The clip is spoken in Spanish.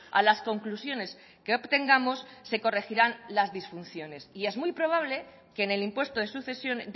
a las conclusiones que obtengamos se corregirán las disfunciones y es muy probable que en el impuesto de sucesión